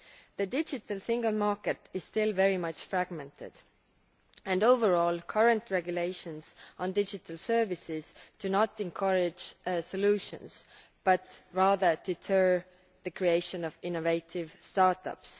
The digital single market is still very much fragmented and, overall, current regulations on digital services do not encourage solutions, but rather deter the creation of innovative start ups.